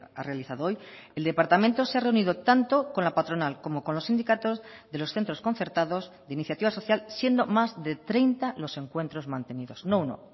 ha realizado hoy el departamento se ha reunido tanto con la patronal como con los sindicatos de los centros concertados de iniciativa social siendo más de treinta los encuentros mantenidos no uno